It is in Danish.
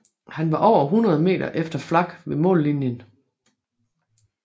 Han var over hundrede meter efter Flack ved mållinjen